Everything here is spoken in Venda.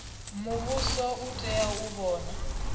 muvhuso u tea u vhona